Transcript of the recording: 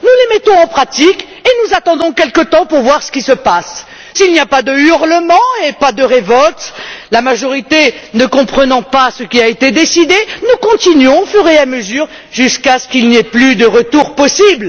Nous les mettons en pratique et nous attendons quelque temps pour voir ce qui se passe. S'il n'y a pas de hurlements et pas de révolte, la majorité ne comprenant pas ce qui a été décidé, nous continuons au fur et à mesure jusqu'à ce qu'il n'y ait plus de retour possible.